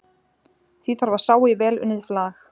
Því þarf að sá í vel unnið flag.